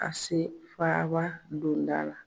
A se faaba donda la.